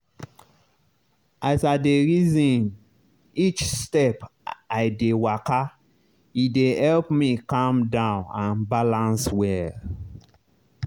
as i dey reason each step when i dey waka e dey help me calm down and balance well.